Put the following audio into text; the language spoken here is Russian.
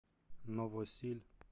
новосиль